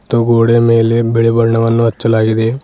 ತ್ತು ಗೋಡೆಯ ಮೇಲೆ ಬಿಳಿ ಬಣ್ಣವನ್ನು ಹಚ್ಚಲಾಗಿದೆ.